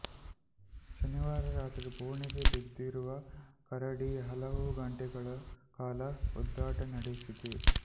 ಶನಿವಾರ ರಾತ್ರಿ ಬೋನಿಗೆ ಬಿದ್ದಿರುವ ಕರಡಿ ಹಲವು ಗಂಟೆಗಳ ಕಾಲ ಒದ್ದಾಟ ನಡೆಸಿದೆ